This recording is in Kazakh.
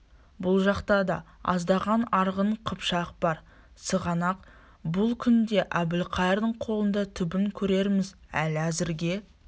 бұ жақта да аздаған арғын қыпшақ бар сығанақ бұл күнде әбілқайырдың қолында түбін көрерміз ал әзірге